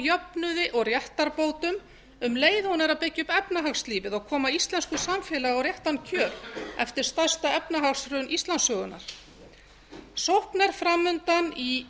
jöfnuði og réttarbótum um leið og hún er að byggja upp efnahagslífið og koma íslensku samfélagi á réttan kjöl eftir stærsta efnahagshrun íslandssögunnar sókn er framundan í